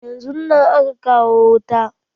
Yanzun nan aka kawo wuta.